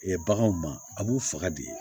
baganw ma a b'u faga de